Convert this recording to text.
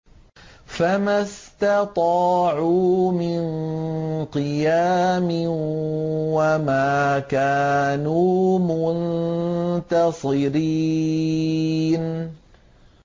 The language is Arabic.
فَمَا اسْتَطَاعُوا مِن قِيَامٍ وَمَا كَانُوا مُنتَصِرِينَ